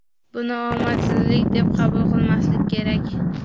Buni omadsizlik deb qabul qilmaslik kerak.